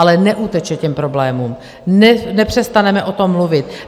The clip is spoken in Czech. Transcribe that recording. Ale neuteče těm problémům, nepřestaneme o tom mluvit.